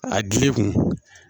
A gili kun